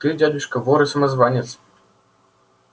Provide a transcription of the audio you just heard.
ты дядюшка вор и самозванец